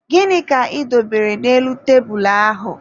Gịnị ka ị dobere n'elu tebulu ahụ?